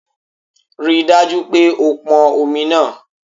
Rí i dájú pé o pọn omi náà